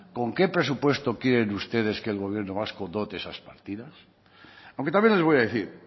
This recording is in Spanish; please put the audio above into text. con qué presupuesto quieren ustedes que el gobierno vasco dote esas partidas aunque también les voy a decir